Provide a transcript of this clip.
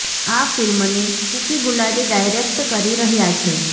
આ ફિલ્મને કૂકી ગુલાટી ડાયરેક્ટ કરી રહ્યા છે